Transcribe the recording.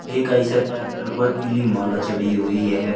एक Eicher tractor पर पीली माला चढ़ी हुई है।